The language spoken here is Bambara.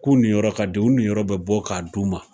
K'u ni yɔrɔ ka di, u ni yɔrɔ bi bɔ k'a d'u ma